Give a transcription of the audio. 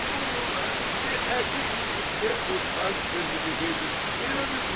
Bu, bir erkek üçün də utanç verici bir şeydir, bilirmisiniz?